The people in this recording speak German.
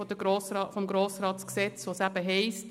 GRG, wo es eben heisst: